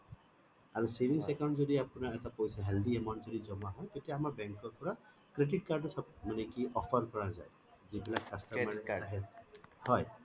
আৰু savings account যদি আপোনাৰ বহুত healthy amount যদি জমা হয় তেতিয়া আমাৰ bank ৰ পৰা credit card ৰ মানে offer কৰা যায় যিবিলাক customer এ আহে হয়